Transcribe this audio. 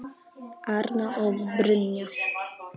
Arna og Brynja.